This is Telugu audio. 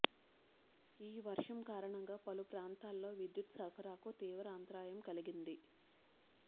ఈ వర్షం కారణంగా పలు ప్రాంతాల్లో విద్యుత్ సరఫరాకు తీవ్ర అంతరాయం కలిగింది